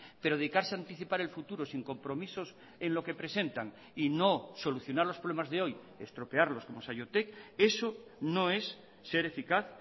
pero dedicarse anticipar el futuro sin compromisos en lo que presentan y no solucionar los problemas de hoy estropearlos como saiotek eso no es ser eficaz